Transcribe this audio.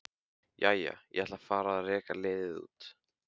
Jæja, ég ætla að fara að reka liðið út.